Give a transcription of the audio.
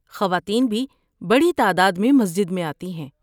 خواتین بھی بڑی تعداد میں مسجد میں آتی ہیں۔